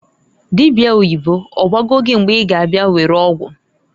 Dịbịa oyibo, ọgwago gị mgbe I ga abịa were ọgwụ?